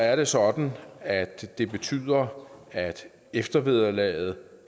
er det sådan at det betyder at eftervederlaget